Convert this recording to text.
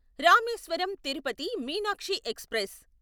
Rameswaram Tirupati Meenakshi express